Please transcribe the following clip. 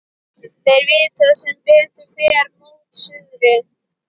Þeir vita sem betur fer mót suðri.